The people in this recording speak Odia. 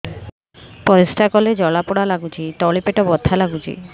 ପରିଶ୍ରା କଲେ ଜଳା ପୋଡା ଲାଗୁଚି ତଳି ପେଟ ବଥା ଲାଗୁଛି